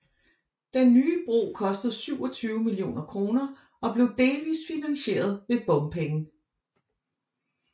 Den nye bro kostede 27 millioner kroner og blev delvist finansieret ved bompenge